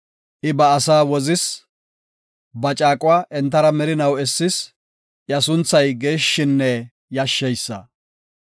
I ba asaa wozis; caaqo entara merinaw essis; iya sunthay geeshshinne yashsheysa.